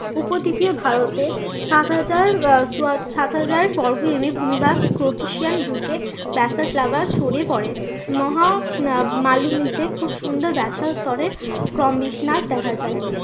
ভারতে সাত হাজার আহ সাত হাজার বর্গ কিমি ভূমি বা লাভা ছড়িয়ে পরে। মহা আহ মালভূমিতে খুব সুন্দর স্তরে দেখা যায়।